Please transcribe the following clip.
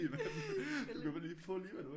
Du kan få lige hvad du vil